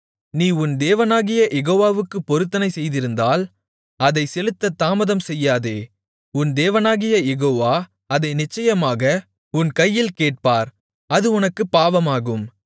நீ உன் தேவனாகிய யெகோவாவுக்குப் பொருத்தனை செய்திருந்தால் அதைச் செலுத்தத் தாமதம்செய்யாதே உன் தேவனாகிய யெகோவா அதை நிச்சயமாக உன் கையில் கேட்பார் அது உனக்குப் பாவமாகும்